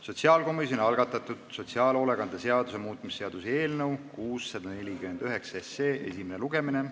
Sotsiaalkomisjoni algatatud sotsiaalhoolekande seaduse muutmise seaduse eelnõu 649 esimene lugemine.